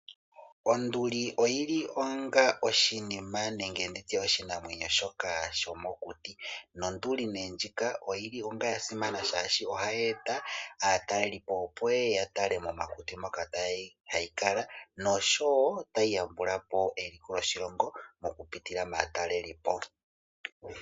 Onduli oyi li onga oshinima nenge nditye oshinamwenyo shoka sho mokuti, nonduli nee ndjika oyi li onga ya simana shaashi ohayi eta aatalelipo opo ye ye ya tale mokuti moka hayi kala noshowo tayi yambulapo eiko loshilongo, mokupitila maatalelipo.